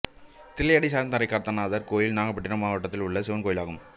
தில்லையாடி சார்ந்தாரைக் காத்த நாதர் கோயில் நாகப்பட்டினம் மாவட்டத்தில் உள்ள சிவன் கோயிலாகும்